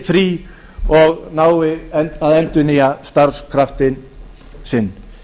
frí og nái að endurnýja starfskraftinn sinn